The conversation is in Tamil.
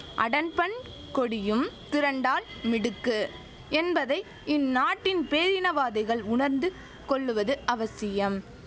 அடன்பன் கொடியும் திரண்டால் மிடுக்கு என்பதை இந்த நாட்டின் பேரினவாதிகள் உணர்ந்து கொள்ளுவது அவசியம்